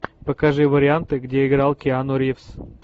покажи варианты где играл киану ривз